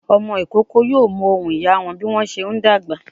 Ọmọ ìkókó yóò mọ ohùn ìyá a wọn bí wọ́n bá ṣe ń dàgbà.